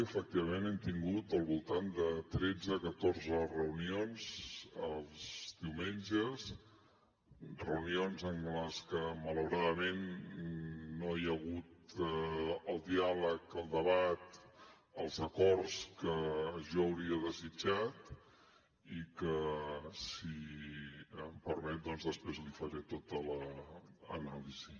efectivament hem tingut al voltant de tretze catorze reunions els diumenges reunions en les que malauradament no hi ha hagut el diàleg el debat els acords que jo hauria desitjat i que si em permet doncs després li’n faré tota l’anàlisi